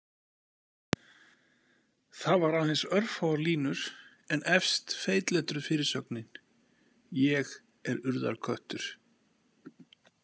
Það var aðeins örfáar línur en efst feitletruð fyrirsögnin: ÉG ER URÐARKÖTTUR.